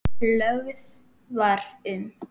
Lögð var um